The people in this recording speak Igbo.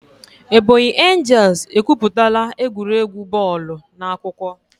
Ebonyi angels ekwuputala egwuregwu bọọlụ n'akụkọ.